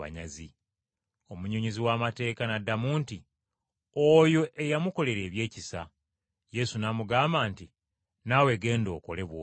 Omunnyonnyozi w’amateeka n’addamu nti, “Oyo eyamukolera ebyekisa.” Yesu n’amugamba nti, “Naawe genda okole bw’otyo.”